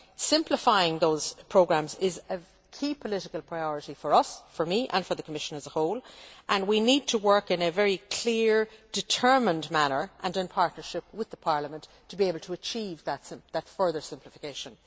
Simplifying those programmes is a key political priority for us for me and for the Commission as a whole and we need to work in a very clear, determined manner and in partnership with Parliament to be able to achieve that further simplification.